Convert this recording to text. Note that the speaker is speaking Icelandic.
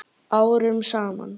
Árum saman?